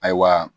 Ayiwa